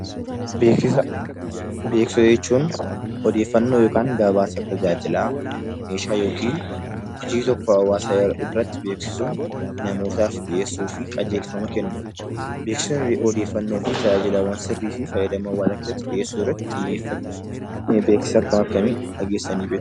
Beeksisa jechuun odeeffannoo yookaan gabaasa tajaajila meeshaa yookiin hojii tokko hawaasa biratti beeksisuun namootaaf dhiyeessuu fi qajeelfama kennuudha. Beeksisni odeeffannoo fi tajaajila sirrii fi tajaajila qabatamaa dhiyeessuu irratti xiyyeeffata. Beeksisa akkam akkamii dhageessanii beektu?